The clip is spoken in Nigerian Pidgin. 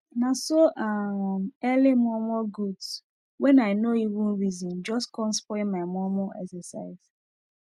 naso um early momo goods wen i nor even reson jus com spoil my momo exercise